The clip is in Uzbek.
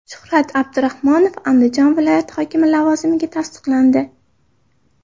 Shuhrat Abdurahmonov Andijon viloyati hokimi lavozimiga tasdiqlandi.